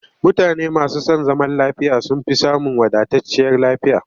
Mutane masu son zaman lafiya sun fi samun wadatacciyar lafiya